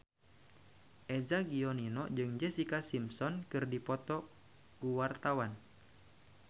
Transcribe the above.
Eza Gionino jeung Jessica Simpson keur dipoto ku wartawan